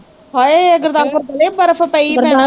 ਹਾਏ ਗੁਰਦਾਸਪੁਰ ਬੜੇ ਬਰਫ਼ ਪਈ ਭੈਣਾਂ